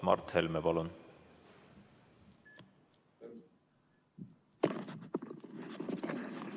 Mart Helme, palun!